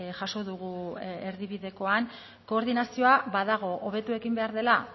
jaso dugu erdibidekoan koordinazioa badago hobetu egin behar dela